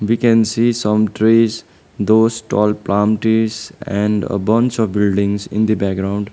we can see some trees those tall plam trees and a bunch of buildings in the background.